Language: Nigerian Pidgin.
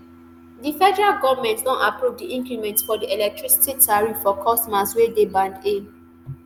di federal goment don approve di increment for di electricity tariff for customers wey dey band a